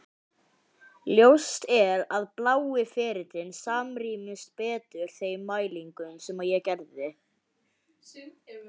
Ljóst er að blái ferillinn samrýmist betur þeim mælingum sem ég gerði.